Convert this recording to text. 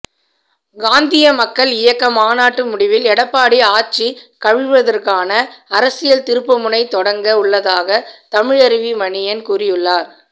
காந்திய மக்கள் இயக்க மாநாட்டு முடிவில் எடப்பாடி ஆட்சி கவிழ்வதற்கான அரசியல் திருப்புமுனை தொடங்க உள்ளதாக தமிழருவி மணியன் கூறியுள்ளார்